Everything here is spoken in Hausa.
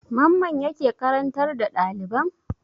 Mamman yake karantar da ɗaliban?